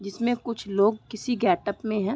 जिसमे कुछ लोग किसी गेटप में हैं।